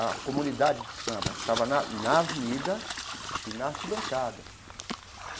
A comunidade do samba estava na na avenida e na arquibancada.